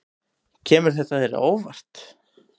Kemur þetta þér á óvart?